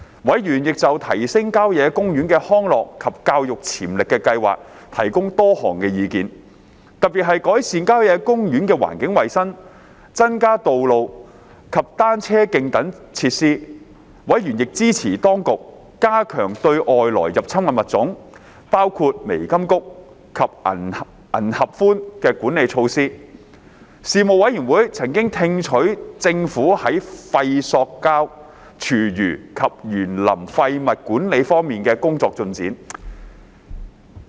委員亦就提升郊野公園的康樂及教育潛力的計劃提供多項意見，特別是改善郊野公園的環境衞生、增加道路及單車徑等設施。委員亦支持當局加強對外來入侵物種的管理措施。事務委員會曾聽取政府在廢塑膠、廚餘及園林廢物管理方面的工作進展。